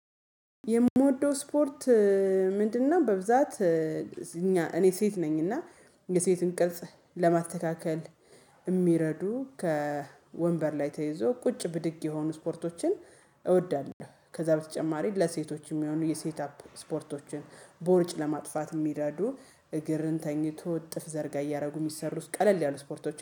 የምወደው ስፖርት ምንድነው? በብዛት እኛ እኔ ሴት ነኝና የሴትን ቅርጽ ለማተካከል የሚረዱ ከወንበር ላይ ተይዞ ቁጭ ብድግ የሆኑ ስፖርቶችን እወዳለሁ። ከዛ በተጨማሪ ለሴቶች የሚሆኑ የሴት አፕ ስፖርቶችን ቦርጭ ለማጥፋት የሚረዱ እግርን ተኝቶ እጥፍ ዘርጋ እያደረጉ የሚሰሩት ቀለል ያሉ ስፖርቶች